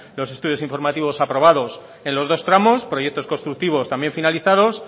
los estudios informativos aprobados en los dos tramos proyectos constructivos también finalizados